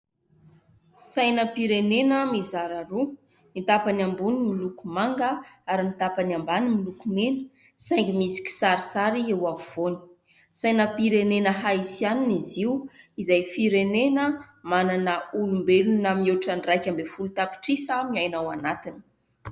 Sainam-pirenena mizara roa ny tapany ambony miloko manga ary ny tapany ambany miloko mena saingy misy kisarisary eo afovoany sainam-pirenena "HAITÏAN" Izy io izay firenena manana olombelona mihoatra iraika ambin'ny folo tapitrisa miaina ao anatiny.